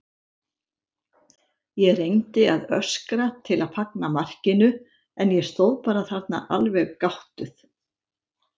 Ég reyndi að öskra til að fagna markinu en ég stóð bara þarna alveg gáttuð.